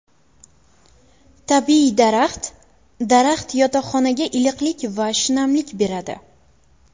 Tabiiy daraxt Daraxt yotoqxonaga iliqlik va shinamlik beradi.